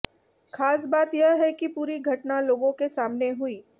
खास बात यह है कि पूरी घटना लोगों के सामने हुई